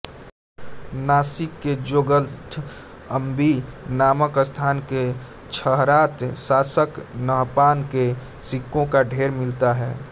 नासिक के जोगलथम्बी नामक स्थान से क्षहरात शासक नहपान के सिक्कों का ढेर मिलता है